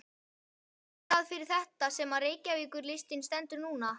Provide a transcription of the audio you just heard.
Er það fyrir þetta sem að Reykjavíkurlistinn stendur núna?